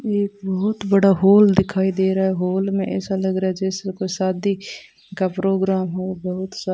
यह बहुत बड़ा हॉल दिखाई दे रहा है हॉल में ऐसा लग रहा है जैसे कोई शादी का प्रोग्राम हो बहुत सब --